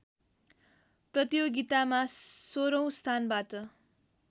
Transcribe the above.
प्रतियोगितामा सोह्रौँ स्थानबाट